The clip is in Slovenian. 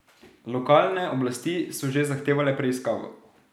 Lokalne oblasti so že zahtevale preiskavo.